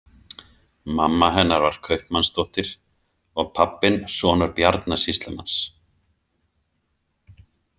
Mamma hennar var kaupmannsdóttir og pabbinn sonur Bjarna sýslumanns.